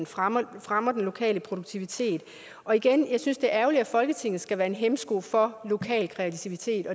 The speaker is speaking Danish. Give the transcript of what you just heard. fremmer fremmer den lokale produktivitet og igen jeg synes det er ærgerligt at folketinget skal være en hæmsko for lokal kreativitet